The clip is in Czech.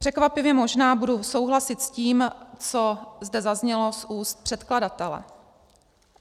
Překvapivě možná budu souhlasit s tím, co zde zaznělo z úst předkladatele.